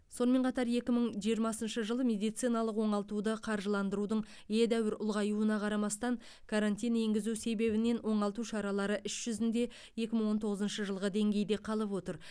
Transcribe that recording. сонымен қатар екі мың жиырмасыншы жылы медициналық оңалтуды қаржыландырудың едәуір ұлғаюына қарамастан карантин енгізу себебінен оңалту шаралары іс жүзінде екі мың он тоғызыншы жылғы деңгейде қалып отыр